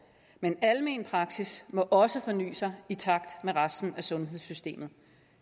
men almen praksis må også forny sig i takt med resten af sundhedssystemet